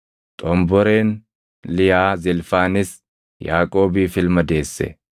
Xomboreen Liyaa Zilfaanis Yaaqoobiif ilma deesse.